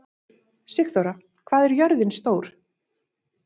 Sigþóra, hvað er jörðin stór?